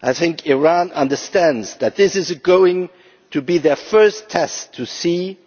I think the Iranians understand that this is going to be their first test to see